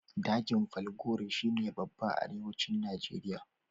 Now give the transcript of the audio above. Dajin falgore shi ne babba a Arewacin Nijeriya.